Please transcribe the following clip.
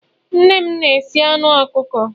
nne m na-esi anu ọkụkọ